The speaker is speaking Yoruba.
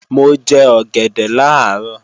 Mo jẹ ọ̀gẹ̀dẹ̀ làárọ̀